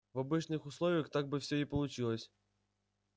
в обычных условиях так бы всё и получилось